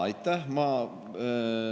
Aitäh!